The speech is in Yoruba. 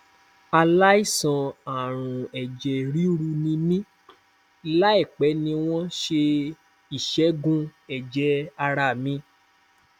aláìsàn arun eje riru ni mí láìpẹ ni wọn ṣe ìṣẹgùn ẹjẹ ara mi